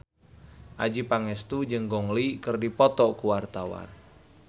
Adjie Pangestu jeung Gong Li keur dipoto ku wartawan